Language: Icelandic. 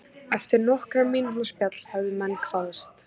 Eftir nokkurra mínútna spjall hefðu menn kvaðst.